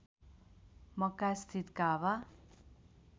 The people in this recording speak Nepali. मक्का स्थित काबा